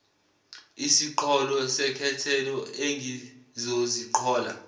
isiqholo sekhethelo engizoziqhola